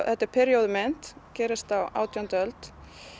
þetta er períóðu mynd gerist á átjándu öld